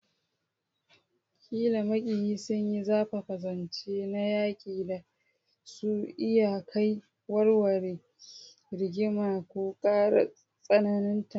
Ƙila maƙiyi sun yi zafafa, zance na yaƙi da za su iya kai ga warware rigima ko ƙara tsananta.